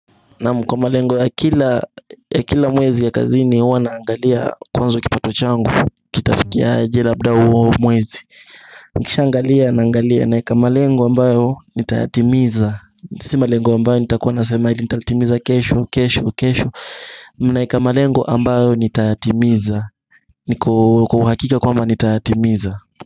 Naam kwa malengo ya kila mwezi ya kazini huwa naangalia kwanza kipato changu Kitafikiaje labda huo mwezi Nikishaangalia naangalia naeka malengo ambayo nitayatimiza Si malengo ambayo nitakuwa nasemaidi nitayatimiza kesho kesho kesho Naeka malengo ambayo nitayatimiza niko kwa uhakika kwamba nitayatimiza.